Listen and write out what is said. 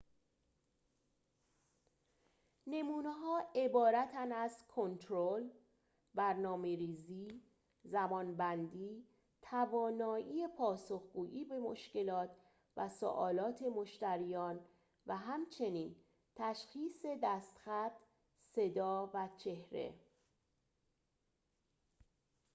نمونه‌ها عبارتند از کنترل برنامه‌ریزی زمان‌بندی توانایی پاسخ‌گویی به مشکلات و سؤالات مشتریان و همچنین تشخیص دست‌خط صدا و چهره